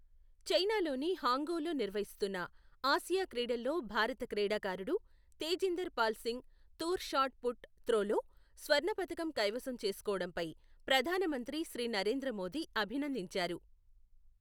చైనాలోని హాంగ్ఝౌలో నిర్వహిస్తున్న ఆసియా క్రీడల్లో భారత క్రీడాకారుడు తేజీందర్ పాల్ సింగ్ తూర్ షాట్ పుట్ త్రోలో స్వర్ణ పతకం కైవసం చేసుకోవడంపై ప్రధానమంత్రి శ్రీ నరేంద్ర మోదీ అభినందించారు.